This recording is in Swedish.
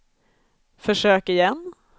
försök igen